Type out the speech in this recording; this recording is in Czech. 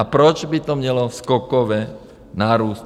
A proč by to mělo skokově narůst?